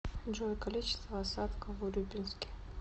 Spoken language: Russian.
джой количество осадков в урюпинске